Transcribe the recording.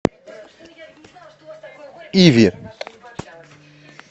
иви